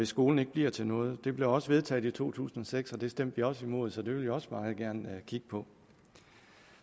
skolen bliver til noget det blev også vedtaget i to tusind og seks og det stemte vi også imod så det vil vi også meget gerne kigge på